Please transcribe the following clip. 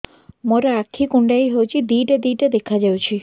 ମୋର ଆଖି କୁଣ୍ଡାଇ ହଉଛି ଦିଇଟା ଦିଇଟା ଦେଖା ଯାଉଛି